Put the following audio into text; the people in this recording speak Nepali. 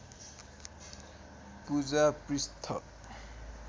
पूजा पृष्ठ